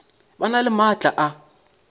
ba na le maatla a